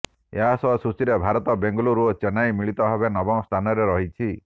ଏହା ସହ ସୂଚୀରେ ଭାରତ ବେଙ୍ଗାଲୁରୁ ଓ ଚେନ୍ନାଇ ମିଳିତ ଭାବେ ନବମ ସ୍ଥାନରେ ରହିଛି